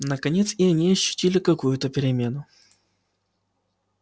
наконец и они ощутили какую-то перемену